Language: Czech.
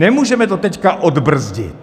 Nemůžeme to teď odbrzdit.